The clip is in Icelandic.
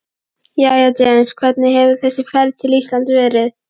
Jæja James, hvernig hefur þessi ferð til Íslands verið?